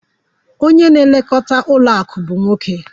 Onye na-elekọta ụlọ akụ bụ nwoke.